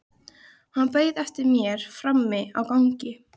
Hann beið eftir mér frammi á gangi.